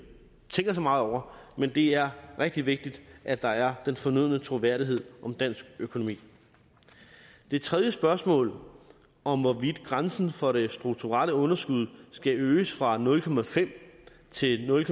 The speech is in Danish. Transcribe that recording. tænker så meget over men det er rigtig vigtigt at der er den fornødne troværdighed ved dansk økonomi det tredje spørgsmål om hvorvidt grænsen for det strukturelle underskud skal øges fra nul til nul